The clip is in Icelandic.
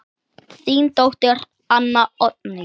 Þín dóttir, Anna Oddný.